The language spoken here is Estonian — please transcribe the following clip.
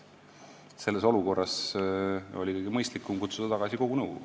Selles olukorras oli kõige mõistlikum kutsuda tagasi kogu nõukogu.